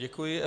Děkuji.